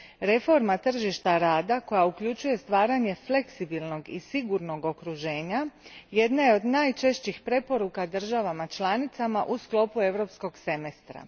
Reforma tržišta rada koja uključuje stvaranje fleksibilnog i sigurnog okruženja jedna je od najčešćih preporuka državama članicama u sklopu Europskog semestra.